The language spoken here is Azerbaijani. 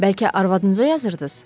Bəlkə arvadınıza yazırdınız?